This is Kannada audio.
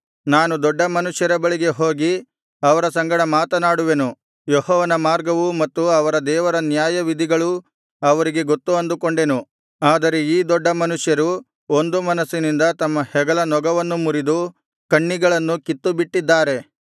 ನಾನು ದೊಡ್ಡ ಮನುಷ್ಯರ ಬಳಿಗೆ ಹೋಗಿ ಅವರ ಸಂಗಡ ಮಾತನಾಡುವೆನು ಯೆಹೋವನ ಮಾರ್ಗವು ಮತ್ತು ಅವರ ದೇವರ ನ್ಯಾಯವಿಧಿಗಳೂ ಅವರಿಗೆ ಗೊತ್ತು ಅಂದುಕೊಂಡೆನು ಆದರೆ ಈ ದೊಡ್ಡ ಮನುಷ್ಯರು ಒಂದು ಮನಸ್ಸಿನಿಂದ ತಮ್ಮ ಹೆಗಲ ನೊಗವನ್ನು ಮುರಿದು ಕಣ್ಣಿಗಳನ್ನು ಕಿತ್ತುಬಿಟ್ಟಿದ್ದಾರೆ